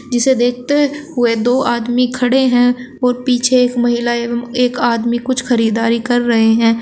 जिसे देखते हुए दो आदमी खड़े हैं और पीछे एक महिला एवं एक आदमी कुछ खरीदारी कर रहे हैं।